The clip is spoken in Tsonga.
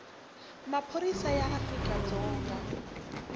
wa maphorisa ya afrika dzonga